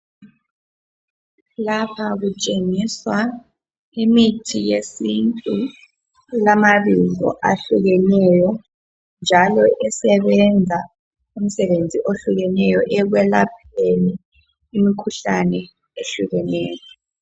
Lapha kutshengisa imithi yesintu elama bizo ahlukeneyo njalo esebenza imisebenzi ohlukeneyo ekwelapheni imikhuhlane eyehlukeneyo